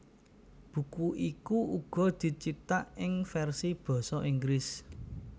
Buku iku uga dicithak ing versi basa Inggris